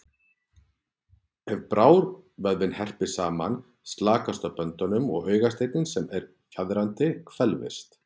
Ef brárvöðvinn herpist saman slakast á böndunum og augasteinninn sem er fjaðrandi, hvelfist.